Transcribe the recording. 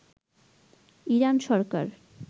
Iran Sarkar